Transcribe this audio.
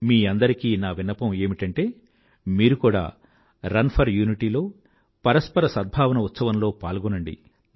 మీ అందరికీ నా విన్నపం ఏమిటంటే మీరు కూడా రన్ ఫర్ యూనిటీ లో పరస్పర సద్భావన ఉత్సవంలో పాల్గొనండి